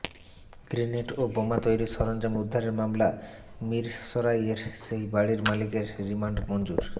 grenade ও বোমা তৈরির সরঞ্জাম উদ্ধারের মামলা মিরসরাইয়ের সেই বাড়ির মালিকের রিমান্ড মঞ্জুর